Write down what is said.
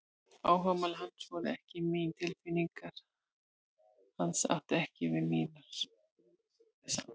Áhugamál hans voru ekki mín, tilfinningar hans áttu ekki við mínar, við rímuðum ekki saman.